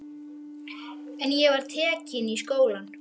En ég var tekin í skólann.